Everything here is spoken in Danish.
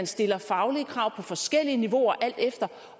stilles faglige krav på forskellige niveauer alt efter